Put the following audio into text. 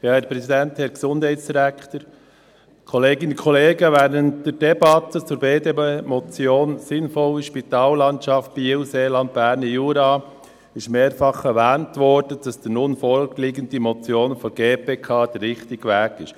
Während der Debatte zur BDP-Motion «Sinnvolle Spitalversorgung in Biel, im Seeland und im Berner Jura» wurde mehrfach erwähnt, dass die nun vorliegende Motion der GPK der richtige Weg ist.